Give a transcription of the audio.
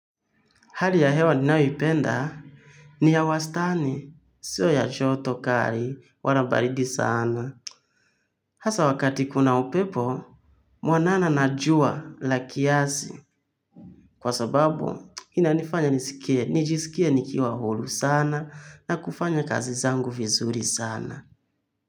Hali ya hewa ninyoipenda, ni ya wastani, sio ya joto kali, wala baridi sana. Hasa wakati kuna upepo, mwanana na jua la kiasi. Kwa sababu, inanifanya nijisikie nikiwa huru sana, na kufanya kazi zangu vizuri sana.